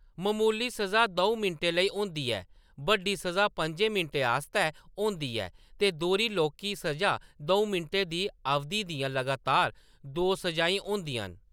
ममूली स'जा द'ऊं मिंटें लेई होंदी ऐ, बड्डी स'जा पं'जें मिंटें आस्तै होंदी ऐ ते दोह्‌री लौह्‌‌‌की स'जा दऊं' मिंटें दी अवधि दियां लगातार दो स'जाईं होंदियां न।